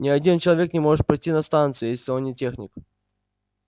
ни один человек не может пройти на станцию если он не техник